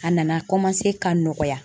A nana ka nɔgɔya.